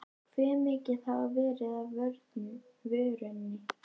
Hve mikið hafi verið af vörunni?